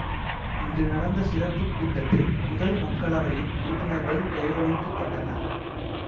இன்று நடந்த சிறப்பு கூட்டத்தில் முதல் மக்களவையின் உறுப்பினர்கள் கௌரவிக்க பட்டனர்